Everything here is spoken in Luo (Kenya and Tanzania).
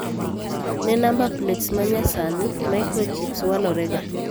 Ne namba plets ma nyasanyi, maikrochps walorega.